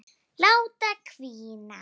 Láta hvína.